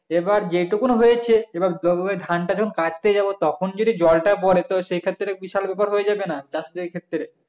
এবারে যেটুকু হয়েছে এবারে জন্মানো ধানটা যখন কাটতে যাবো তখন যদি জলটা পরে তো সেই ক্ষেত্রে বিশাল ব্যাপার হয়ে যাবে না চাষিদের ক্ষেত্রে